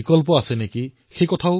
আপোনালোকেও এখন তালিকা প্ৰস্তুত কৰক